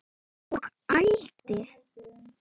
Og ældi.